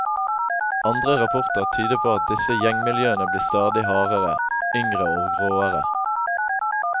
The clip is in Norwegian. Andre rapporter tyder på at disse gjengmiljøene blir stadig hardere, yngre og råere.